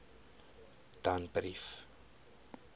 danbrief